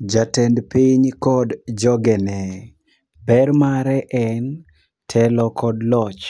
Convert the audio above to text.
Jatend piny kod jogene: Ber mare en telo kod loch.